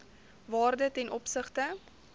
waarde ten opsigte